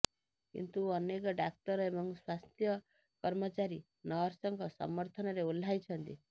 କିନ୍ତୁ ଅନେକ ଡାକ୍ତର ଏବଂ ସ୍ୱାସ୍ଥ୍ୟ କର୍ମଚାରୀ ନର୍ସଙ୍କ ସମର୍ଥନରେ ଓହ୍ଲାଇଛନ୍ତି